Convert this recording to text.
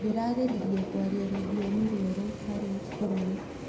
Ndĩrageririe kũaria rũthiomi rwerũ harĩ bũrũri.